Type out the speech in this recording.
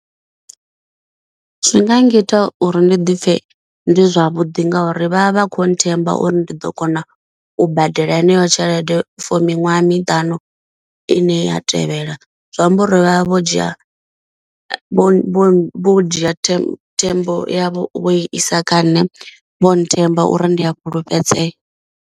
Zwi nga ngita uri ndi dipfe ndi zwavhuḓi ngauri vha vha vha kho themba uri ndi ḓo kona u badela heneyo tshelede for miṅwaha miṱanu i ine ya tevhela, zwi amba uri vhavha vho dzhia vho vho vho dzhia tame thembo yavho i isa kha nṋe vho nthemba uri ndi a fhulufhedzea.